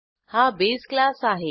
हा base class आहे